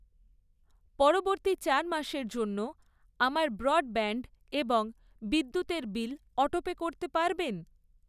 পরবর্তী চার মাসের জন্য আমার ব্রডব্যান্ড এবং বিদ্যুতের বিল অটোপে করতে পারবেন?